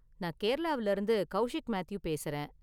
நான் கேரளாவுல இருந்து கௌஷிக் மேத்யூ பேசுறேன்.